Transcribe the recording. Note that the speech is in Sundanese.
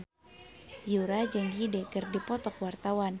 Yura jeung Hyde keur dipoto ku wartawan